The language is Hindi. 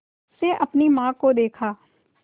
से अपनी माँ को देखा